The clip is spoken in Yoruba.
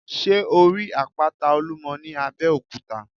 Sé o rí àpáta Olúmo ní Abéòkúta?